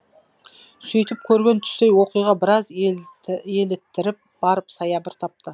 сөйтіп көрген түстей оқиға біраз еліттіріп барып саябыр тапты